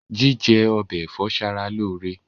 Jíjẹ ọbẹ ẹ̀fọ́ ṣara lóore.